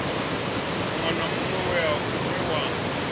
muṅwe na muṅwe we wa